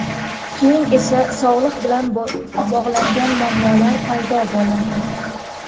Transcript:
Keyin esa sog‘liq bilan bog‘langan muammolar paydo bo‘ladi.